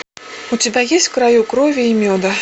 у тебя есть в краю крови и меда